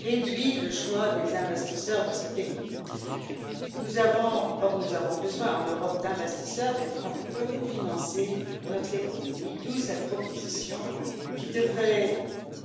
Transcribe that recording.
réduit le choix des investisseurs de ce pays. Or, nous avons besoin en Europe d'investisseurs et de capitaux pour financer notre économie, d'où cette proposition qui devrait